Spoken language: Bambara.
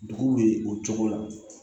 Dugu bɛ o cogo la